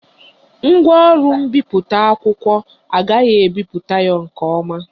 Ngwaọrụ mbipụta akwụkwọ a agaghị ebipụta ya nke ọma